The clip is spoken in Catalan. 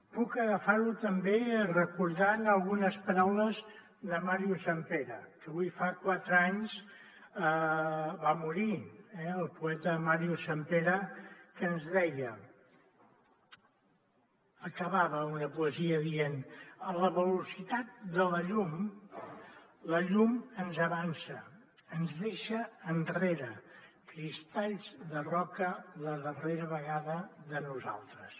puc agafar ho també recordant algunes paraules de màrius sampere que avui fa quatre anys va morir eh el poeta màrius sampere que ens deia acabava una poesia dient a la velocitat de la llum la llum ens avança ens deixa enrere cristalls de roca la darrera vegada de nosaltres